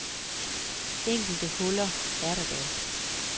Enkelte huller er der dog.